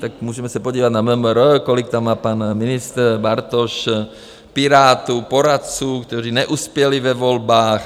Tak můžeme se podívat na MMR, kolik tam má pan ministr Bartoš Pirátů, poradců, kteří neuspěli ve volbách.